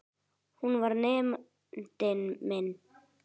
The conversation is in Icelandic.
Hún var nemandi minn.